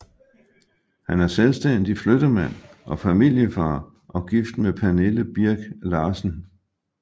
Han er selvstændig flyttemand og familiefar og gift med Pernille Birk Larsen